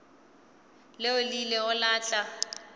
leo le ilego la tla